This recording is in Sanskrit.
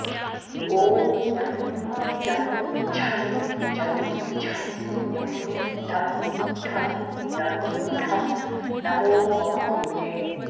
ॐ ङं चं छं जं झं ञं टं ठं डं ढं नमो वाम भुजे